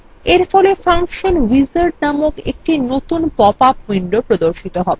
এরফলে function wizard নামক একটি নতুন পপআপ window প্রর্দশিত হবে